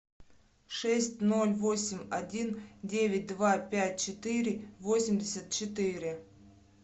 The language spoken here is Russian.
шесть ноль восемь один девять два пять четыре восемьдесят четыре